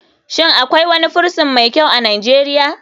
Shin akwai wani prison mai kyau a nijeria?